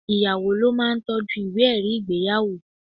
Ìyàwó ló ma ń toọ́jú ìwé ẹ̀rí ìgbéyàwó.